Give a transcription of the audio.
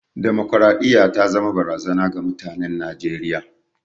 Damakwaraɗiyya ta zama barazana ga mutanen Najeriya.